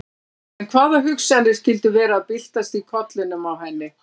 En hvaða hugsanir skyldu vera að byltast í kollinum á henni?